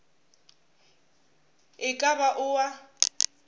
e ka ba o a